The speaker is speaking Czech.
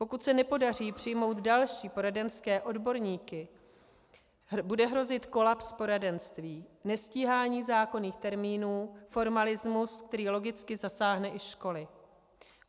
Pokud se nepodaří přijmout další poradenské odborníky, bude hrozit kolaps poradenství, nestíhání zákonných termínů, formalismus, který logicky zasáhne i školy.